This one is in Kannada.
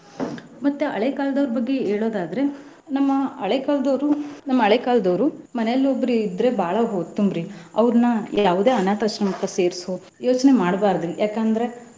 ಮತ್ತ ಹಳೆಕಾಲದವರ ಬಗ್ಗೆ ಹೇಳೋದಾದ್ರೆ ನಮ್ಮ ಹಳೆ ಕಾಲದವ್ರು ನಮ್ಮ ಹಳೆಕಾಲದವ್ರು ಮನೇಲಿ ಒಬ್ರು ಇದ್ರೆ ಬಾಳ್ ಉತ್ತಂರಿ ಅವರ್ನ ಯಾವದೇ ಅನಾಥ ಆಶ್ರಮಕ್ಕ ಸೇರ್ಸೊ. ಯೋಚ್ನೆ ಮಾಡ್ಬಾರ್ದ್ರೀ ಯಾಕಂದ್ರ.